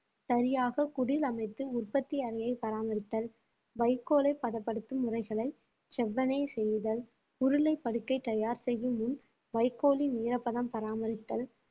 சரியாக குடில் அமைத்து உற்பத்தி அறையை பராமரித்தல் வைக்கோலை பதப்படுத்தும் முறைகளை செவ்வனே செய்தல் உருளை படுக்கை தயார் செய்யும் முன் வைக்கோலின் ஈரப்பதம் பராமரித்தல்